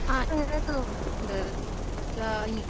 എന്നുവെച്ചാൽ ഇ